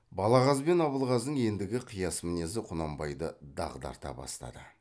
балағаз бен абылғазының ендігі қияс мінезі құнанбайды дағдарта бастады